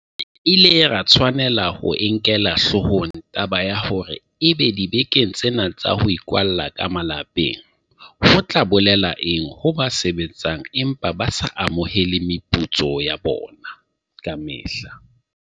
Re ile ra tshwanela ho e nkela hloohong taba ya hore ebe dibekeng tsena tsa ho ikwalla ka malapeng, ho tla bolela eng ho ba sebetsang empa ba sa amohele meputso ya bona ya kamehla, ho ba sa sebetseng ho hang le ba tsomang mesebetsi, ho ba sebetsang mesebetsi ya nakwana kapa ya dihla tse itseng, ho ba lekala la baitshokodi, ho bahloki le bao ba tlokotsing.